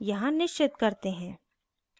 यहाँ निश्चित करते हैं